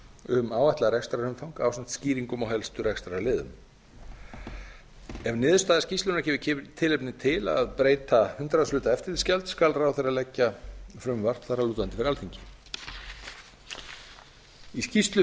um áætlað rekstrarumfang ásamt skýringum á helstu rekstrarliðum ef niðurstaða skýrslunnar gefur tilefni til að breyta hundraðshluta eftirlitsgjalds skal ráðherra leggja frumvarp þar að lútandi fyrir alþingi um skýrslu